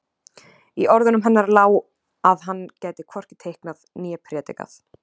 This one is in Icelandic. Í orðunum hennar lá að hann gæti hvorki teiknað né predikað.